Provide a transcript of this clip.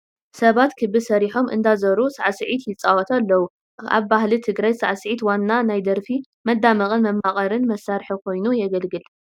ሰባት ክቢ ሰሪሖም እንዳዞሩ ሳዕስዒት ይፃወቱ ኣለዉ፡፡ ኣብ ባህሊ ትግራይ ሳዕስዒት ዋና ናይ ደርፊ መዳመቕን መማወቕን መሳርሒ ኮይኑ እዩ ዘግልግል፡፡